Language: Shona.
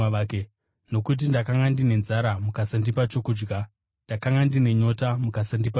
Nokuti ndakanga ndine nzara mukasandipa chokudya, ndakanga ndine nyota, mukasandipa chokunwa,